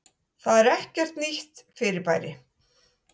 Það er ekkert nýtt fyrirbæri.